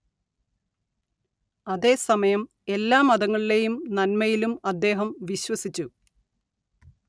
അതേസമയം എല്ലാ മതങ്ങളിലേയും നന്മയിലും അദ്ദേഹം വിശ്വസിച്ചു